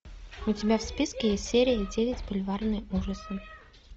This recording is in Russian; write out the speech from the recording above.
у тебя в списке есть серия девять бульварные ужасы